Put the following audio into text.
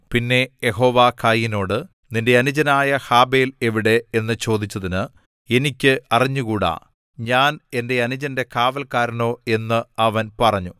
പിന്നെ യഹോവ കയീനോട് നിന്റെ അനുജനായ ഹാബെൽ എവിടെ എന്നു ചോദിച്ചതിന് എനിക്ക് അറിഞ്ഞുകൂടാ ഞാൻ എന്റെ അനുജന്റെ കാവൽക്കാരനോ എന്നു അവൻ പറഞ്ഞു